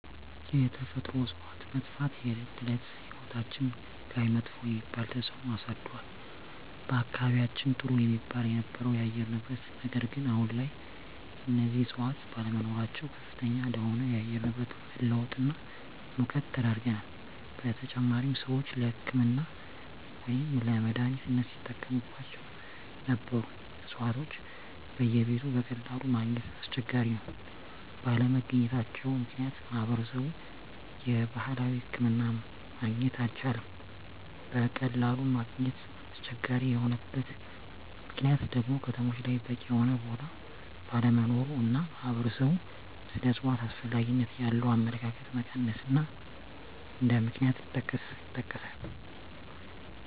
የተፈጥሮ እፅዋት መጥፍት የእለት እለት ህይወታችን ላይመጥፎ የሚባል ተፅእኖ አሳድሮል በአካባቢየችን ጥሩ የሚባል የነበረው የአየር ንብረት ነገር ግን አሁን ላይ እነዚህ እፅዋት ባለመኖራቸው ከፍተኛ ለሆነ የአየር ንብረት መለወጥ እና ሙቀት ተዳርገናል : በተጨማሪም ሰወች ለህክምና ወይም ለመድሐኒትነት ሲጠቀሞቸው ነበሩ እፅዋቶች በየቤቱ በቀላሉ ማገኘት አስቸጋሪ ነው ባለመገኘታቸው ምክንያት ማህበረሰብ የባህላዊ ሕክምና ማግኘት አልቻለም በቀላሉ ማግኘት አስቸጋሪ የሆነበት ምክንያት ደግሞ ከተሞች ላይ በቂ የሆነ ቦታ ባለመኖሩ እና ማህበረሰብ ስለ እፅዋት አስፈላጊነት ያለው አመለካከት መቀነስ እንደ ምክንያት ይጠቀሳሉ።